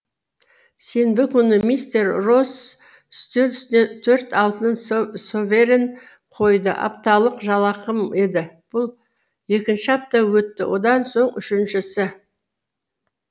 сенбі күні мистер росс үстел үстіне төрт алтын соверен қойды апталық жалақым еді бұл екінші апта өтті одан соң үшіншісі